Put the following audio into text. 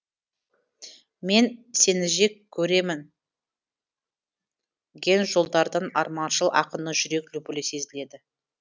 мен сеніжек көремін ген жолдардан арманшыл ақынның жүрек лүпілі сезіледі